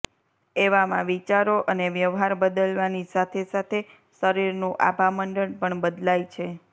એવામાં વિચારો અને વ્યવહાર બદલવાની સાથે સાથે શરીરનું આભામંડળ પણ બદલાઈ છે